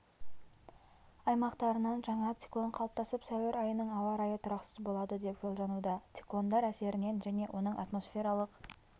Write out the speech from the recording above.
аймақтарынан жаңа циклон қалыптасып сәуір айының ауа-райы тұрақсыз болады деп болжануда циклондар әсеріненжәне оның атмосфералық